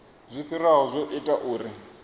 zwo fhiraho zwo ita uri